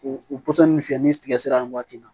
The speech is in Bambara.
U pɔsɔnni fiyɛ ni tigɛ sira nin waati la